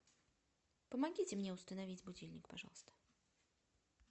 помогите мне установить будильник пожалуйста